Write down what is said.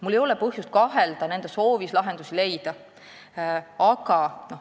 Mul ei ole põhjust kahelda nende soovis lahendusi leida.